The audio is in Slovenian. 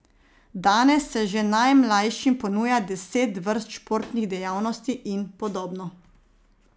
Danes se že najmlajšim ponuja deset vrst športnih dejavnosti in podobno.